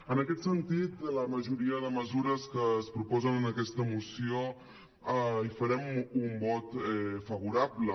en aquest sentit a la majoria de mesures que es proposen en aquesta moció hi farem un vot favorable